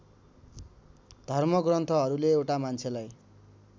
धर्मग्रन्थहरूले एउटा मान्छेलाई